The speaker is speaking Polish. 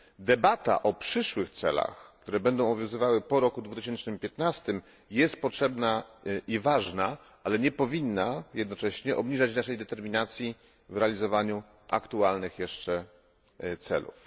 Debata o przyszłych celach, które będą obowiązywały po roku 2015 jest potrzebna i ważna, ale nie powinna jednocześnie zmniejszać naszej determinacji w realizacji aktualnych jeszcze celów.